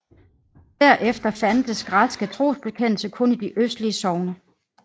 Der efter fandtes græske trosbekendere kun i de østligste sogne